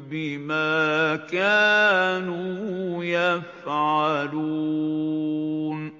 بِمَا كَانُوا يَفْعَلُونَ